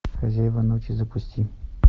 хозяева ночи запусти